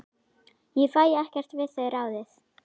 Ég fæ ekkert við þau ráðið.